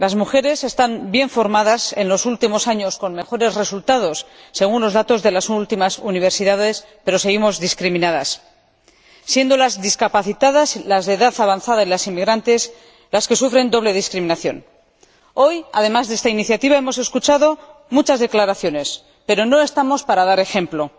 Las mujeres están bien formadas —en los últimos años con mejores resultados, según los últimos datos de las universidades—, pero seguimos discriminadas, siendo las mujeres con discapacidad, las de edad avanzada y las inmigrantes las que sufren doble discriminación. Hoy, además de esta iniciativa, hemos escuchado muchas declaraciones, pero no estamos para dar ejemplo.